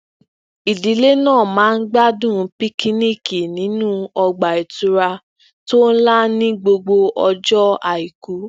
ìdílé náà máa ń gbádùn pikiniiki nínú ọgbà ìtura tó nla ní gbogbo ọjọ aiku